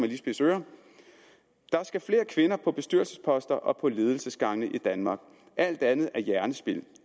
lige spidse ører der skal flere kvinder på bestyrelsesposter og på ledelsesgangene i danmark alt andet er hjernespild